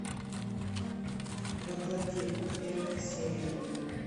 во плоти первая серия